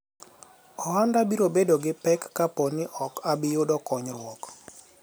ohanda biro bedo gi pek kapo ni ok abiyudo konyruok